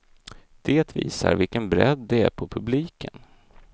Det visar vilken bredd det är på publiken.